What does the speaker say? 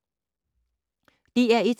DR1